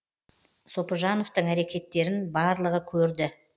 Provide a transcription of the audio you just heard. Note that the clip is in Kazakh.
сопыжановтың әрекеттерін барлығы көрді